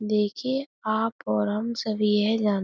देखिए आप और हम सभी यह जान --